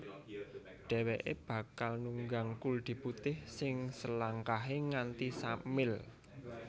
Dhèwèké bakal nunggang kuldi putih sing selangkahé nganti sa mil